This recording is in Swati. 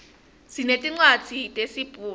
sinetincwadzi tesibhunu